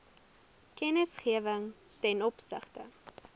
kennisgewing ten opsigte